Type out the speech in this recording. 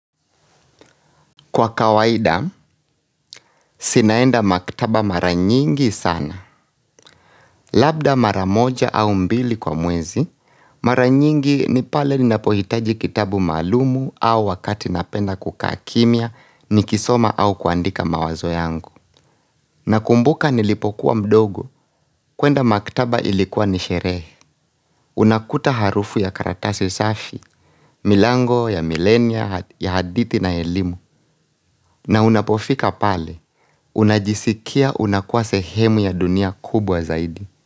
Kwa kawaida, sinaenda maktaba mara nyingi sana. Labda mara moja au mbili kwa mwezi, mara nyingi ni pale ninapohitaji kitabu maalumu au wakati napenda kukaa kimya nikisoma au kuandika mawazo yangu. Nakumbuka nilipokuwa mdogo, kwenda maktaba ilikuwa ni sherehe Unakuta harufu ya karatasi safi, milango ya milenia ya hadithi na elimu na unapofika pale, unajisikia unakuwa sehemu ya dunia kubwa zaidi.